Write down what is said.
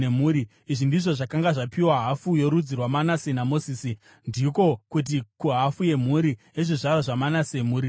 Izvi ndizvo zvakanga zvapiwa hafu yorudzi rwaManase naMozisi, ndiko kuti, kuhafu yemhuri yezvizvarwa zvaManase, mhuri nemhuri: